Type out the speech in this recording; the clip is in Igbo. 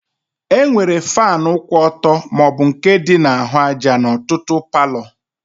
E nwere fanu kwụ ọtọ maọbụ nke dị na-ahụ àjà n'ọtụtụ palo